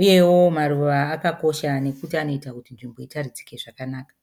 Uyewo maruva akakosha nekuti anoita kuti nzvimbo itaridzike zvakanaka.